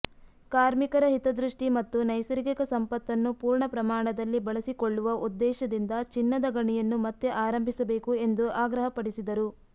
ಕಾರ್ಮಿಕರ ಹಿತದೃಷ್ಟಿ ಮತ್ತು ನೈಸರ್ಗಿಕ ಸಂಪತ್ತನ್ನು ಪೂರ್ಣ ಪ್ರಮಾಣದಲ್ಲಿ ಬಳಸಿಕೊಳ್ಳುವ ಉದ್ದೇಶದಿಂದ ಚಿನ್ನದ ಗಣಿಯನ್ನು ಮತ್ತೆ ಆರಂಭಿಸಬೇಕು ಎಂದು ಆಗ್ರಹಪಡಿಸಿದರು